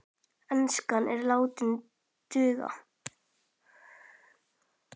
Enskan er látin duga.